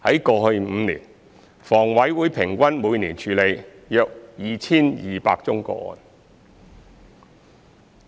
過去5年，房委會平均每年處理約 2,200 宗個案。